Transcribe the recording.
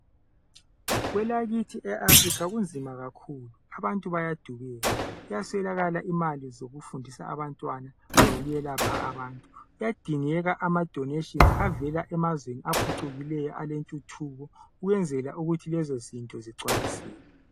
Kwelakithi eAfurikha kunzima kakhulu, abantu bayadubeka. Kuyaswelakala imali zokufundisa abantwana lokwelapha abantu. Kuyadingeka amadoneshinzi avela emazweni aphucukileyo, alentuthuko ukwenzela ukuthi lezo zinto zigcwaliseke.